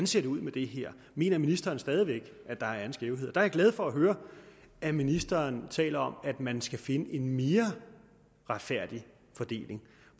ser ud med det her mener ministeren stadig væk at der er en skævhed der er jeg glad for at høre at ministeren taler om at man skal finde en mere retfærdig fordeling